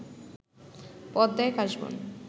পদ্মায় কাশবন